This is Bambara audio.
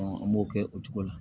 an m'o kɛ o cogo la